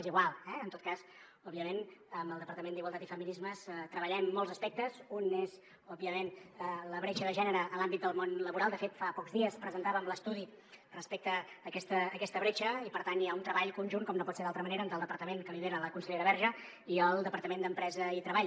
és igual eh en tot cas òbviament amb el departament d’igualtat i feminismes treballem molts aspectes un és òbviament la bretxa de gènere en l’àmbit del món laboral de fet fa pocs dies presentàvem l’estudi respecte a aquesta bretxa i per tant hi ha un treball conjunt com no pot ser d’altra manera entre el departament que lidera la consellera verge i el departament d’empresa i treball